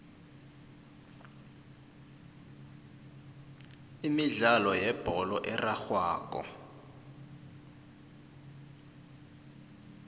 imidlalo yebholo erarhwako